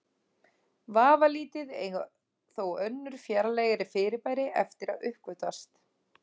Vafalítið eiga þó önnur fjarlægari fyrirbæri eftir að uppgötvast.